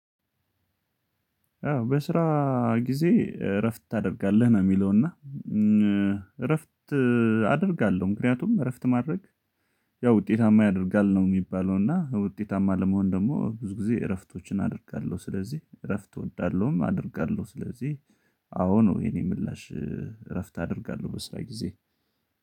አዎ በስራ ጊዜ እረፍት ታደርጋለህ ነው። የሚለው እና እረፍት አደርጋለሁ ምክንያቱም እረፍት ማድረግ ያው ውጤታማ ያደርጋል ነው። የሚባለው እና ውጤታማ ለመሆን ደግሞ ብዙ ጊዜ እረፍቶችን አደርጋለሁ። ስለዚህ እረፍት እወዳለሁም አደርጋለሁ። ስለዚህ አዎ ነው የኔ ምላሽ እረፍት አደርጋለሁ በስራ ጊዜ